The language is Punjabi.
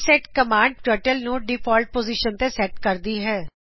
ਰੀਸੈਟ ਕਮਾਂਡ ਦਿੰਦੇ ਹੋਏ ਟਰਟਲ ਨੂੰ ਮੂਲ ਜਗਹ ਤੇ ਲਿਆਓ